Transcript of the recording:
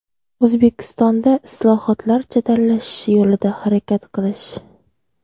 O‘zbekistonda islohotlar jadallashishi yo‘lida harakat qilish.